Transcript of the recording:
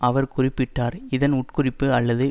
அவர் குறிப்பிட்டார் இதன் உட்குறிப்பு அல்லது